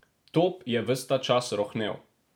Top je ves ta čas rohnel.